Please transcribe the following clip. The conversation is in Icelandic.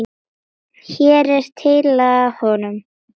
Hér er tillaga að honum.